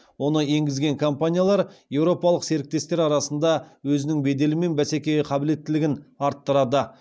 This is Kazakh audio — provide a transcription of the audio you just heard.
оны енгізген компаниялар еуропалық серіктестер арасында өзінің беделі мен бәсекеге қабілеттілігін арттырады